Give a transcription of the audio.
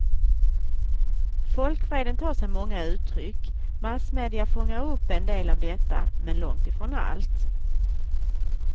Folkvreden tar sig många uttryck, massmedia fångar upp en del av detta, men långt ifrån allt.